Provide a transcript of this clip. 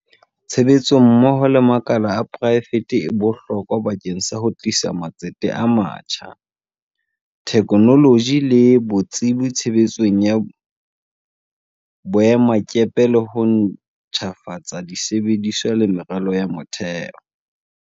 Tshebetso mmoho le makala a poraefete e bohlokwa bakeng sa ho tlisa matsete a matjha, the knoloji le botsebi tshebetsong ya boemakepe le ho ntjhafatsa di sebediswa le meralo ya motheo.